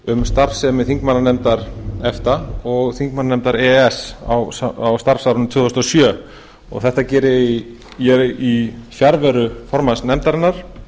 um starfsemi þingmannanefndar efta og þingmannanefndar e e s á starfsárinu tvö þúsund og sjö þetta geri ég í fjarveru formanns nefndarinnar